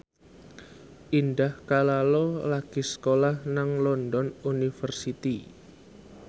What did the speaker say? Indah Kalalo lagi sekolah nang London University